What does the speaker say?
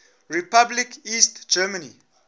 republic east germany